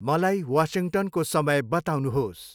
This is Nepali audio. मलाई वासिङ्टनको समय बताउनुहोस्।